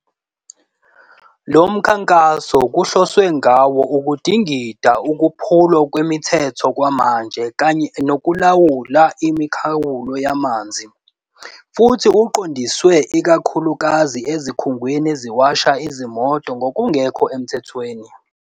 Lo mkhankaso kuhloswe ngawo ukudingida ukuphulwa kwemithetho kwamanje kanye nokulandela imikhawulo yamanzi, futhi uqondiswe ikakhulukazi ezikhungweni eziwasha izimoto ngokungekho emthethweni.